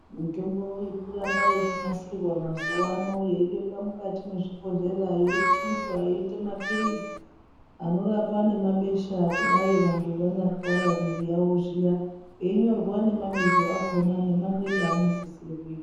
Mutombo iri kuramba yeinasirwa mazuwa ano yeibekwa mukati mezvibhehleya yeichinjwa yeita mapurizi anorapa nemabesha kudai vantu vanyatwara miri yawo zviya einyorwa nemabizo akona nemamwiro anosisira kuita.